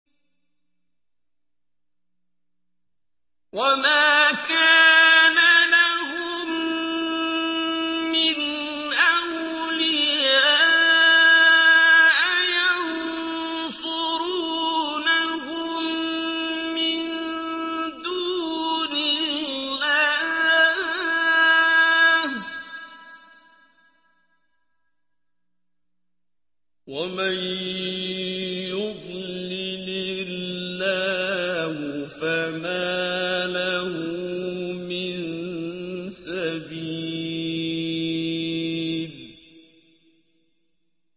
وَمَا كَانَ لَهُم مِّنْ أَوْلِيَاءَ يَنصُرُونَهُم مِّن دُونِ اللَّهِ ۗ وَمَن يُضْلِلِ اللَّهُ فَمَا لَهُ مِن سَبِيلٍ